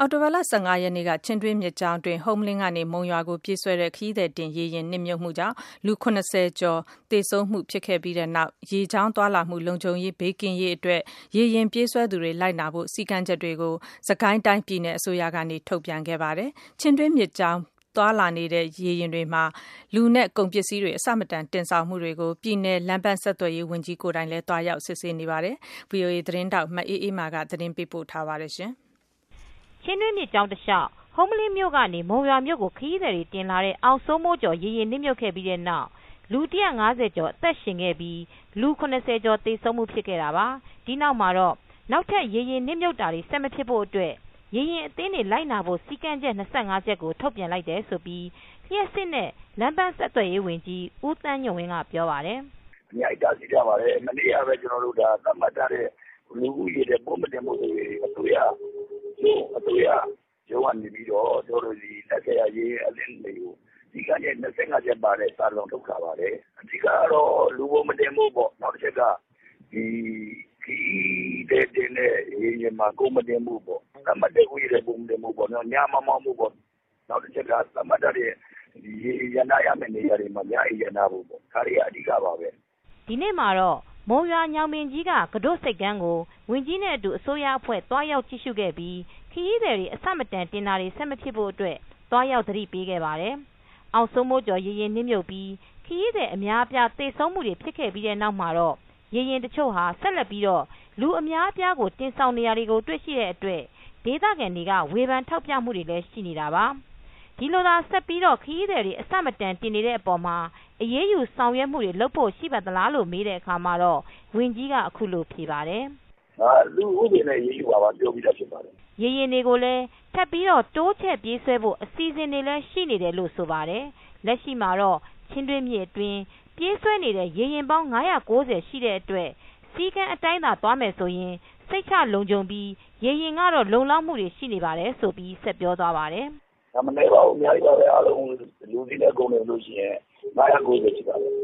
အောက်တိုဘာ ၁၅ ရက်နေ့က ချင်းတွင်းမြစ်ကြောင်းတွင်း ဟုမ္မလင်းကနေ မုံရွာကို ပြေးဆွဲတဲ့ ခရီးသည်တင်ရေယာဉ်နစ်မြုပ်မှုကြောင့် လူ ၇၀ ကျော်သေဆုံးမှုတွေ ဖြစ်ခဲ့ရပြီးနောက်၊ ရေကြောင်းသွားလာမှု လုံခြုံဘေးကင်းရေးအတွက် ရေယာဉ်ပြေးဆွဲသူတွေ လိုက်နာဖို့ စည်းကမ်းချက်တွေကို စစ်ကိုင်းတိုင်းပြည်နယ်အစိုးရကနေ ထုတ်ပြန်ခဲ့ပါတယ်။ ချင်းတွင်းမြစ်ကြောင်းအတွင်းသွားလာနေတဲ့ ရေယာဉ်တွေမှာ လူနဲ့ကုန်အဆမတန် တင်ဆောင်မှုတွေကို ပြည်နယ် လမ်းပန်းဆက်သွယ်ရေးဝန်ကြီးကိုယ်တိုင်လည်း သွားရောက်စစ်ဆေးမှုတွေလုပ်နေပါတယ်။ ဗွီအိုအေ သတင်းထောက် မအေးအေးမာ သတင်းပေးပို့ထားပါတယ်။ ဟုမ္မလင်းမြို့ကနေ မုံရွာမြိုကို ခရီးသည်တွေတင်လာတဲ့ အောင်စိုးမိုးကျော်ရေယာဉ် နစ်မြုပ်ခဲ့ပြီးတဲ့နောက်လူ၁၅၀ကျော် အသက်ရှင်ခဲ့ပြီး လူ ၇၀ ကျော်သေဆုံးမူဖြစ်ခဲ့တာပါ။ ဒီနောက်မှာတော့ နောက်ထပ်ရေယာဉ်နစ်မြုပ်တာတွေ ဆက်မဖြစ်ဖို့အတွက် ရေယာဉ်အသင်းတွေလိုက်နာဖို့ စည်းကမ်းချက် ၂၅ ချက်ကို ထုတ်ပြန်လိုက်တယ်လို့လျှပ်စစ်နဲ့ လမ်းပန်းဆက်သွယ်ရေးဝန်ကြီးဦးသန်းညွန့်ဝင်း ကပြောပါတယ်။ “ထုတ်ပြန်ထားပါတယ် မနေ့ကပဲ ကျနော်တို့ သတ်မှတ်ထားတဲ့ လူဦးရေ သတ်မှတ်မှုတွေ အစိုးရရုံးကနေပြီးတော့ စည်းကမ်းချက် ၂၅ ချက်ပဲတဲ့စာ ထုတ်ထားပါတယ်။ အဓိကတော့ လူပိုမတင်ဖို့ပေါ့၊၊ နောက်တချက်က ခရီးသည်တင်တဲ့ရေယာဉ်မှာ ကုန်မတင်ဖို့ပေါ့ သတ်မှတ်တဲ့ ဦးရေထက်ပိုမတင်ဖို့ပေါ့နော် ညမမောင်းဖို့ပေါ့ နောက်တချက်က သတ်မှတ်ထားတဲ့ ရေယာဉ်ရပ်နားရမယ့်နေရာတွေမှာ ညအိပ်ရပ်နားဖို့ပေါ့ ဒါတွေက အဓိက ပါပဲ။” ဒီနေ့မှာတော့မုံရွာညောင်ပင်ကြီး ကတို့ဆိပ်ကမ်းကို ဝန်ကြီးနဲ့ အတူအစိုးရအဖွဲ့က သွားရောက်ကြည့် ရူခဲ့ပြီး ခရီးသည်တွေ အဆမတန်တင်တာတွေဆက်မဖြစ်ဖို့အတွက် သွားရောက်သတိပေးခဲ့ပါတယ်။ အောင်စိုးမိုးကျော်ရေယာဉ်နစ်မြုပ်ပြီး ခရီးသည် အများအပြား သေဆုံးမူဖြစ်ပြီးတဲ့နောက် ရေယာဉ်တချို့ဟာ ဆက်လက်ပြီးလူအများအပြားကို တင်ဆောင်နေတာတွေရှိနေတဲ့အတွက် ဒေသခံတွေက ဝေဖန်ထောက်ပြမူတွေလည်းရှိနေတာပါ။ဒီလို ဆက်ပြီးတော့ ခရီးသည်တွေအဆမတန်တင်နေတဲ့အပေါ်မှာ အရေးယူဆောင်ရွက်မူတွေလုပ်ဖို့ ရှိသလားလို့မေးတဲ့အခါမှာတော့ ဝန်ကြီးကအခုလိုဖြေပါတယ်။ “ဥပဒေနဲ့ အရေးယူမှာပါ ပြောပြီးသားဖြစ်ပါတယ်။” ရေယာဉ်တွေကို ထပ်ပြီးတိုးချဲ့ပြေးဆွဲဖို့ အစီစဉ်တွေလည်းရှိနေတယ်လို့ ဆိုပါတယ်။ လက်ရှိမှာတော့ ချင်းတွင်းမြစ်အတွင်းပြေးဆွဲနေတဲ့ရေယာဉ်ပေါင်း ၅၉၀ ရှိတဲ့အတွက် စည်ကမ်းအတိုင်းသွားရင် စိတ်ချလုံခြုံမှုရှိပြီး ရေယာဉ်လုံလောက်မူရှိတယ် ဆိုပြီးဆက်ပြောပြပါတယ်။ “မနည်းပါဘူး အများကြီးပါပဲ။ လူ၊ကုန်တင်တဲ့ ရေယာဉ်က ၅၉၀ ရှိပါတယ်။